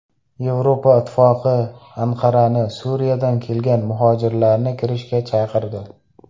Yevropa Ittifoqi Anqarani Suriyadan kelgan muhojirlarni kiritishga chaqirdi.